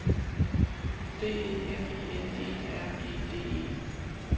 D E F I N E R E D E